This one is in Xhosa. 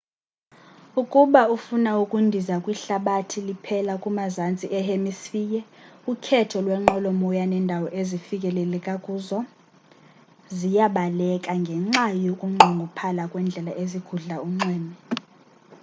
ukuba ufina ukundiza kwihlabathi liphela kumazantsi e hemisphere ukhetho lwenqwelomoya nendawo ezifikelela kuzo ziyabaleka ngenxa yokunqongophala kwendlela ezigudla unxweme